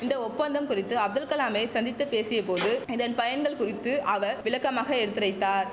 இந்த ஒப்பந்தம் குறித்து அப்துல் கலாமை சந்தித்து பேசியபோது இதன் பயன்கள் குறித்து அவர் விளக்கமாக எடுத்துரைத்தார்